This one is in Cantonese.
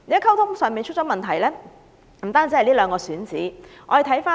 溝通的問題不單在這兩個選址上顯示出來。